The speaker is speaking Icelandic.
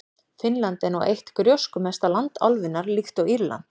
Finnland er nú eitt gróskumesta land álfunnar, líkt og Írland.